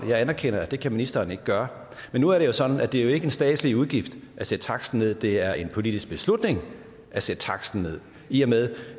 jeg anerkender at det kan ministeren ikke gøre men nu er det jo sådan at det ikke er en statslig udgift at sætte taksten ned det er en politisk beslutning at sætte taksten ned i og med